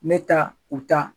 Ne taa u taa.